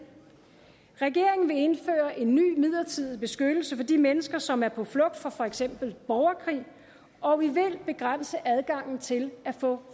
regeringen vil indføre en ny midlertidig beskyttelse for de mennesker som er på flugt fra for eksempel borgerkrig og vi vil begrænse adgangen til at få